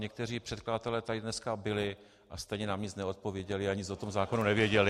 Někteří předkladatelé tady dneska byli, a stejně nám nic neodpověděli a nic o tom zákonu nevěděli.